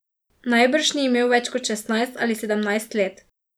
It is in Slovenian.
Najbrž ni imel več kot šestnajst ali sedemnajst let.